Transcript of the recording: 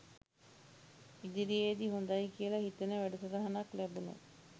ඉදිරියේදී හොඳයි කියලා හිතෙන වැඩසටහනක් ලැබුණොත්